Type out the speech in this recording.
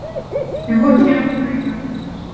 Við vorum ekki alveg nægilega þéttir.